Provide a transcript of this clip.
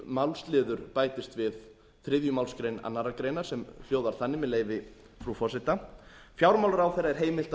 málsliður bætist við þriðju málsgrein annarrar greinar sem hljóðar þannig með leyfi frú forseta fjármálaráðherra er heimilt